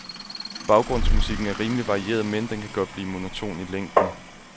Baggrundsmusikken er rimelig varieret, men den kan godt blive monoton i længden.